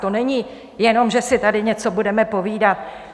To není jenom, že si tady něco budeme povídat.